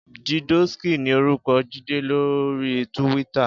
JIdóskí ni órúkò Jide lóri túwìtâ